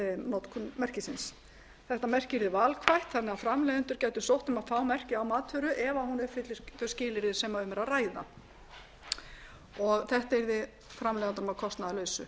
notkun merkisins þetta merki yrði valkvætt þannig að framleiðendur gætu sótt um að fá merkið á matvöru ef hún uppfyllir þau skilyrði sem um er að ræða þetta yrði framleiðendum að kostnaðarlausu